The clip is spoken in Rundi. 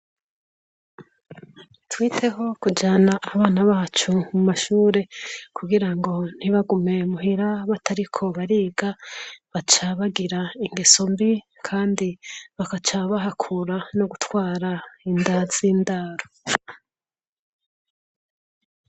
Twiteho kujana abana bacu mu mashure, Kugirango ntibagume muhira batariko bariga, baca bagira ingeso mbi, kandi bagaca bahakura no gutwara inda z''indaro.